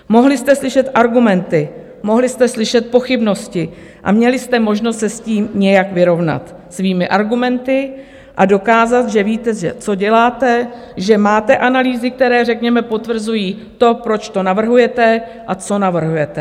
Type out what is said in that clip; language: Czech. Mohli jste slyšet argumenty, mohli jste slyšet pochybnosti a měli jste možnost se s tím nějak vyrovnat svými argumenty a dokázat, že víte, co děláte, že máte analýzy, které řekněme potvrzují to, proč to navrhujete a co navrhujete.